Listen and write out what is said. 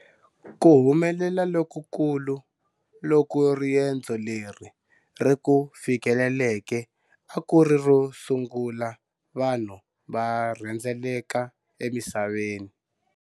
Ku humelela lokukulu loku riendzo leri ri ku fikeleleke a ku ri ro sungula vanhu va rhendzeleka emisaveni.